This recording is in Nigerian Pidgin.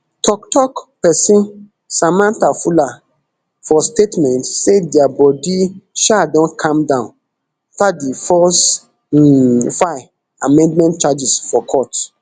toktok person samantha fuller for statement say dia body um don calm down afta di firs um file amended charges for court